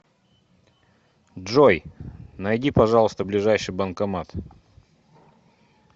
джой найди пожалуйста ближайший банкомат